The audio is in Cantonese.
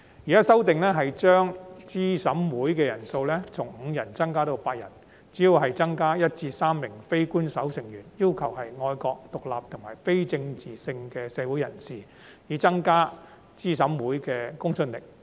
現時的修正案提出將資審會人數上限從5人增加至8人，主要是增加1名至3名非官守成員，要求是愛國、獨立和非政治性的社會人士，以增加資審會的公信力。